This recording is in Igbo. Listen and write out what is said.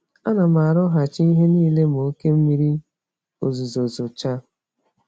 Ánám arụghachị ihe nílé ma oké mmiri ozuzo zochaa